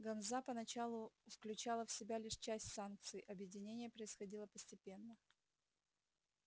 ганза поначалу включала в себя лишь часть станций объединение происходило постепенно